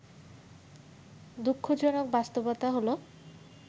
দুঃখজনক বাস্তবতা হলো